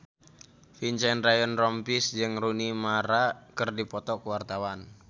Vincent Ryan Rompies jeung Rooney Mara keur dipoto ku wartawan